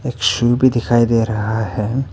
एक शू भी दिखाई दे रहा है।